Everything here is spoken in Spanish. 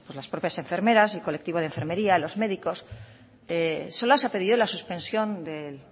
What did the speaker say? las propias enfermeras el colectivo de enfermería los médicos solo se ha pedido la suspensión del